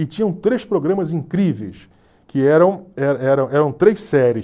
E tinham três programas incríveis, que eram eram três séries.